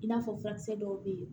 I n'a fɔ furakisɛ dɔw bɛ yen